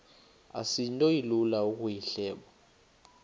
asinto ilula ukuyihleba